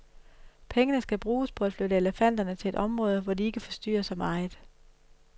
Pengene skal bruges på at flytte elefanterne til et område, hvor de ikke forstyrrer så meget.